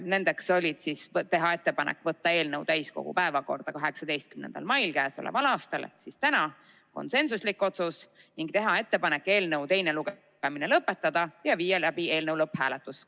Need olid: teha ettepanek võtta eelnõu täiskogu päevakorda 18. maiks k.a ehk tänaseks ning teha ettepanek eelnõu teine lugemine lõpetada ja viia läbi eelnõu lõpphääletus .